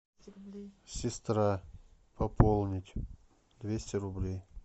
сестра пополнить двести рублей